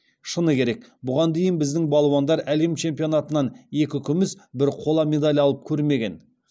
шыны керек бұған дейін біздің балуандар әлем чемпионатынан екі күміс бір қола медаль алып көрмеген